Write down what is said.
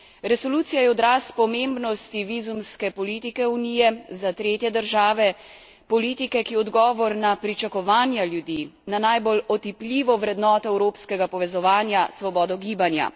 Resolucija je odraz pomembnosti vizumske politike Unije za tretje države, politike, ki je odgovor na pričakovanja ljudi, na najbolj otipljivo vrednoto evropskega povezovanja, svobodo gibanja.